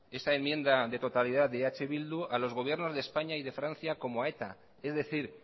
esa enmienda de totalidad de eh bildu insta a los gobiernos de españa y de francia como a eta es decir